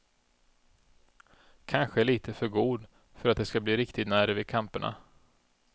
Kanske lite för god för att det skall bli riktig nerv i kamperna.